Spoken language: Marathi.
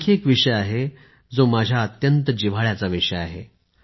आणखी एक विषय आहे जो माझ्या मनाच्या अत्यंत जिव्हाळ्याचा विषय आहे